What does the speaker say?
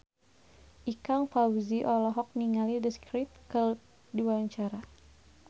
Ikang Fawzi olohok ningali The Script keur diwawancara